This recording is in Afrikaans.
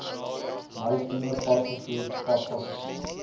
maritieme padvervoer padpassasier